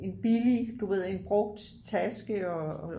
en billig du ved en brugt taske og